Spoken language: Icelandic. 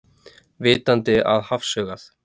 Vitandi að hafsaugað.